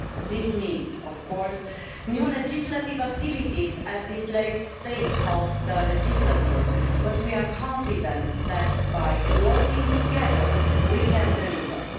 This means, of course, new legislative activities at this late stage of the legislature, but we are confident that by working, together we can deliver.